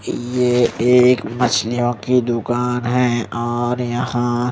ये एक मछलियों की दुकान है और यहाँ--